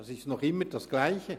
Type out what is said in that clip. Es ist noch immer dasselbe.